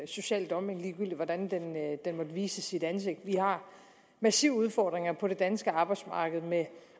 social dumping ligegyldigt hvordan den måtte vise sit ansigt vi har massive udfordringer på det danske arbejdsmarked med